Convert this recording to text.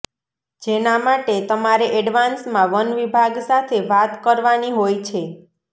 જેના માટે તમારે એડવાન્સમાં વનવિભાગ સાથે વાત કરવાની હોય છે